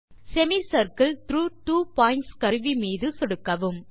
செமிசர்க்கில் த்ராக் two points கருவி மீது சொடுக்கவும்